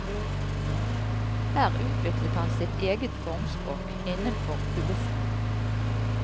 Her utviklet han sitt eget formspråk innenfor kubismen.